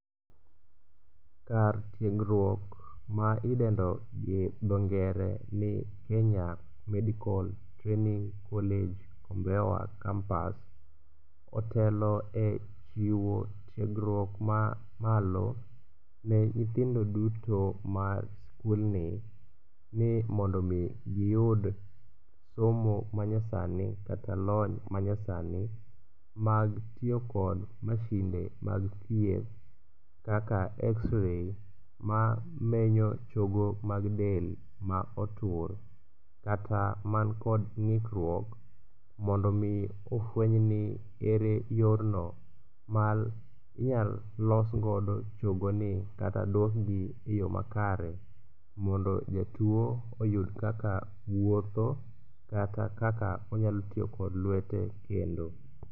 Kar tiegruok ma idendo gi dho ngere ni Kenya medical training college Kombewa campus otelo e chiwo tiegruok mamalo ne nyithindo duto ma skulni ni mondo omi giyud somo manyasani kata lony manyasani mag tiyo kod masinde mag thieth kaka xray mamenyo chogo mag del ma otur kata mankod ng'ikruok mondo omi ofwenyni ere yorno ma inyal losgodo chogoni kata dusgi e yo makare mondo jatuo oyud kaka wuotho kata kaka onyalo tiyo kod lwete kendo.